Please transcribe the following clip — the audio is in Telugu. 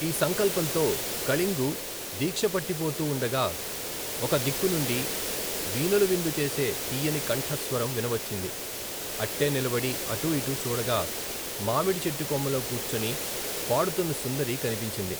ఈ సంకల్పంతో, కళింగు, దీక్షపట్టిపోతూ వుండగా, ఒక దిక్కునుండి, వీనులవిందు చేసే, తీయని కంఠస్వరం, వినవచ్చింది, అట్టే నిలబడి, అటుఇటు చూడగా, మామిడి చెట్టుకొమ్మల్లో కూర్చొని, పాడుతున్న సుందరీ కనిపించింది.